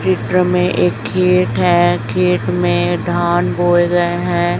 चित्र में एक खेत है खेत में धान बोए गए है।